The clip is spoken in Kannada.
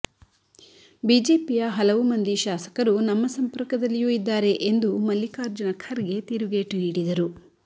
ಬಿಜೆಪಿಯ ಹಲವು ಮಂದಿ ಶಾಸಕರು ನಮ್ಮ ಸಂಪರ್ಕದಲ್ಲಿಯೂ ಇದ್ದಾರೆ ಎಂದು ಮಲ್ಲಿಕಾರ್ಜುನ ಖರ್ಗೆ ತಿರುಗೇಟು ನೀಡಿದರು